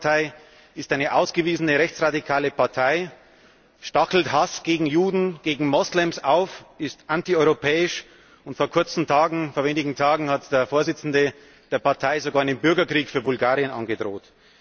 Die Ataka Partei ist eine ausgewiesene rechts radikale Partei, stachelt zu Hass gegen Juden, gegen Moslems auf, ist antieuropäisch, und vor wenigen Tagen hat der Vorsitzende der Partei sogar einen Bürgerkrieg für Bulgarien angedroht.